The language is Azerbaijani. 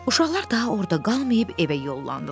Uşaqlar daha orda qalmayıb evə yollandılar.